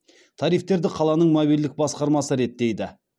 тарифтерді қаланың мобильділік басқармасы реттейді